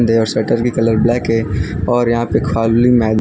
there shutter की colour black है और यहां पे खाली मै --